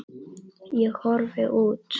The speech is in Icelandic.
Ég horfi út.